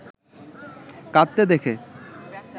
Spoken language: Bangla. কাঁদতে দেখে